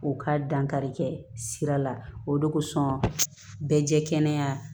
U ka dankarikɛ sira la o de kosɔn bɛɛ jɛ kɛnɛya